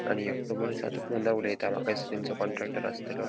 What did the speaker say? आणि ऐकटो मनीस आहा तो उडेता माका दिसता तेंचो कॉन्ट्रॅक्टर आस्तलों.